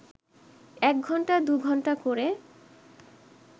এক ঘণ্টা দু ঘণ্টা ক’রে